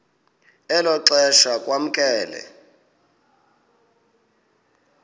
elo xesha kwamkelwe